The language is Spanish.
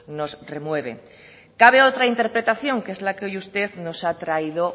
nos remueve cabe otra interpretación que es la que hoy usted nos ha traído